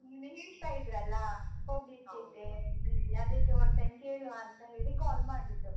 ಹಾಗೆ ನೀವ್ ಹೇಳ್ತಾ ಇದ್ರಲ್ಲ, ಅಂತ ಹೇಳಿ, ಅದಕ್ಕೆ one time ಕೇಳುವಾ ಅಂತ ಹೇಳಿ call ಮಾಡಿದ್ದು.